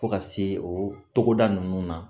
Fo ka se o togoda ninnu na